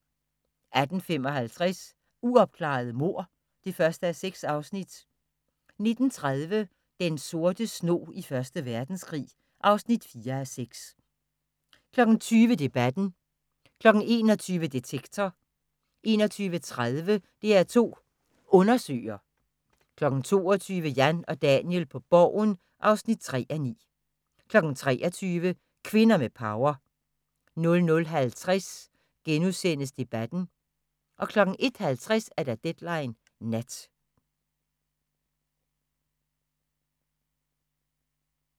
18:55: Uopklarede mord (1:6) 19:30: Den sorte snog i Første Verdenskrig (4:6) 20:00: Debatten 21:00: Detektor 21:30: DR2 Undersøger 22:00: Jan og Daniel på Borgen (3:9) 23:00: Kvinder med power 00:50: Debatten * 01:50: Deadline Nat